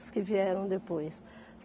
As que vieram depois.